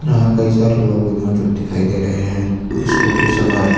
यहां कई सारे लोग भी मौजूद दिखाई दे रहे हैं। स्कूटी सवार--